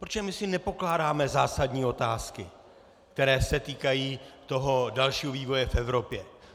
Protože my si nepokládáme zásadní otázky, které se týkají toho dalšího vývoje v Evropě.